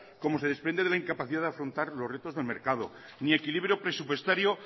como se desprende de la incapacidad de afrontar los retos del mercado ni equilibrio presupuestario